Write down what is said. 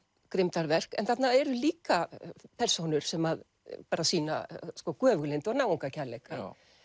grimmdarverk en þarna eru líka persónur sem að sýna göfuglyndi og náungakærleika